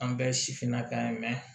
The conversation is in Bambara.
An bɛɛ ye sifinnaka ye